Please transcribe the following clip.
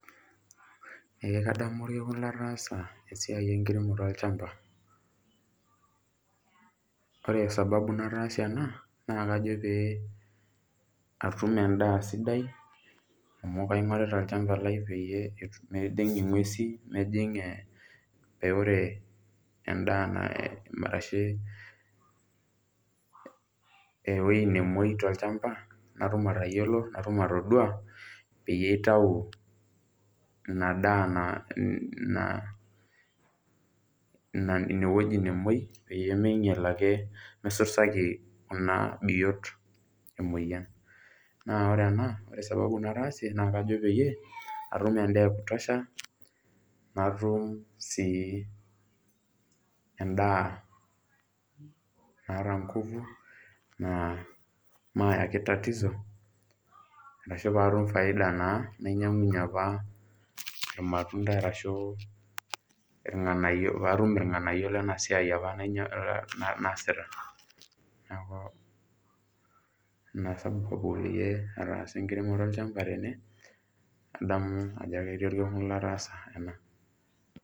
Ee kadamu orkekun lataasa esiai enkiremore olchamba. Ore sababu nataasie ena naa kajo pee atum endaa sidai amu kaing'orita olchamba lai peyie mejing' ing'uesi mejing' ee pee ore endaa arashe ewuei nemuei tolchamba natum atayiolo, natum atodua peyie aitau ina daa na na na ine wueji nimuei peyie minyal ake misusaki kuna biot emoyian. Naa ore ena ore sababu nataasie naa kajo peyie atum endaa e kutosha, natum sii endaa naata nguvu naa maayaki tatizo arashu paatum faida naa nainyang'unye apa irmatunda arashu irng'anayio paatum irng'anayio lena siai apa na naasita. Neeku ina sababu peyie ataasa enkiremore olchamba tene adamu ajo keti orkekun lataasa ena.